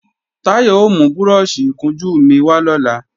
Táyọ̀ ò mú búrọ́ọ̀ṣì ìkunjú mi wà lọ́la